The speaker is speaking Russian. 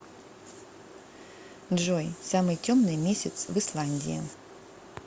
джой самый темный месяц в исландии